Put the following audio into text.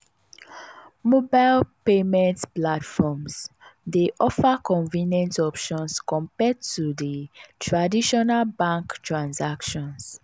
mobile payment platforms dey offer convenient options compared to di traditional bank transactions.